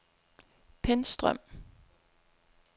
Pentstrøm